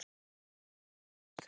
Þrjá drengi eignuðust þau.